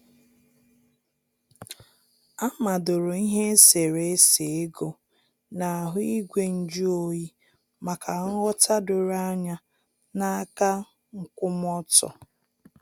A madoro ihe eserésé égò n'ahụ igwe nju oyi maka nghọ̀ta doro anya na aka nkwụmọtọ.